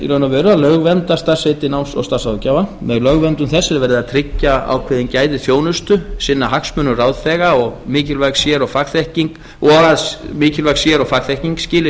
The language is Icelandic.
veru að lögvernda starfsheitið náms og starfsráðgjafi með lögverndun þess er verið að tryggja ákveðin gæði þjónustu sinna hagsmunum ráðþega og að mikilvæg sér og fagþekking skili